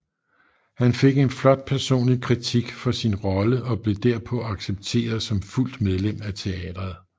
Han fik en flot personlig kritik for sin rolle og blev derpå accepteret som fuldt medlem af teatret